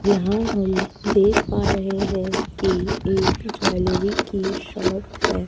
यहां हम देख पा रहे हैं कि एक ज्वेलरी की शॉप है।